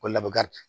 Ko laban di